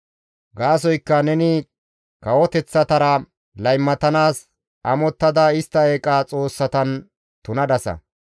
Gaasoykka neni kawoteththatara laymatanaas amottada istta eeqa xoossatan tunadasa.